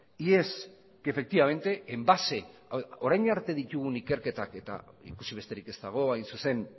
y es que efectivamente en base orain arte ditugun ikerketak eta ikusi besterik ez dago hain zuzen